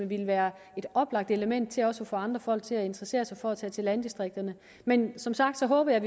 ville være et oplagt element til også at få andre folk til at interessere sig for at tage til landdistrikterne men som sagt håber jeg